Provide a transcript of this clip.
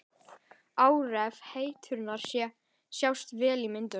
Áhrif eitrunarinnar sjást vel á myndunum.